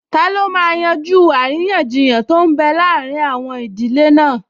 Taló máa yanjú àríyànjiyàn tó n bẹ láàrin àwọn ìdílé náà?